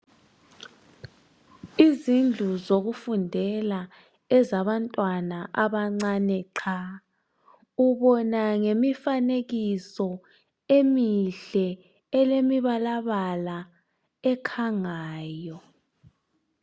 Izindlu zokufundela ezabantwana abancane qha, ubona ngemifanekiso emihle, elemibalabala, ekhangayo.